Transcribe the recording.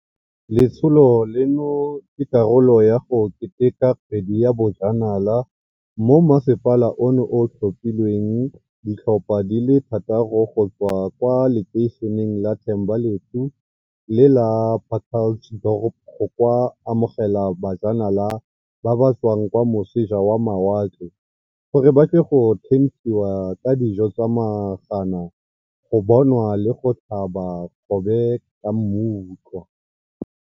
Letsholo leno ke karolo ya go keteka Kgwedi ya Bojanala moo masepala ono o tlhophileng ditlhopha di le thataro go tswa kwa lekeišeneng la Thembalethu le la Pacalts dorp go ka amogela bajanala ba ba tswang kwa moseja wa mawatle gore ba tle go thenthiwa ka dijo tsa magana go bonwa le go tlhaba kgobe ka mmutlwa.